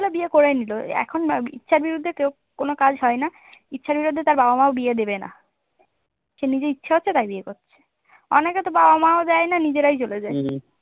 ইচ্ছা হল বিয়ে করে নিল এখন ইচ্ছার বিরুদ্ধে কেউ কোন কাজ হয় না। ইচ্ছার বিরুদ্ধে তার বাবা মাও বিয়ে দেবে না সে নিজের ইচ্ছা হচ্ছে তাই বিয়ে করছে অনেকে তো বাবা মাও যায় না নিজেরাই চলে যায়